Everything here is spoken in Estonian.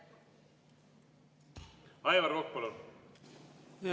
Aivar Kokk, palun!